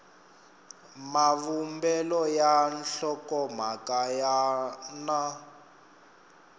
mavumbelo ya nhlokomhaka ya na